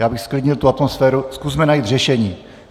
Já bych zklidnil tu atmosféru, zkusme najít řešení.